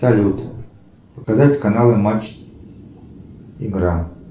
салют показать каналы матч игра